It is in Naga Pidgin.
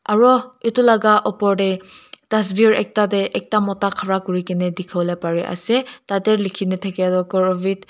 aro etu laga opor te tasvir ekta te ekta mota khara kuri kena dikhiwole pare ase tate likhina thakia toh korovit --